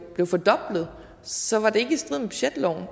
blev fordoblet så var det ikke i strid med budgetloven